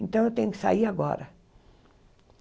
Então, eu tenho que sair agora.